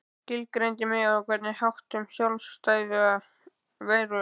Skilgreindi mig á einhvern hátt sem sjálfstæða veru.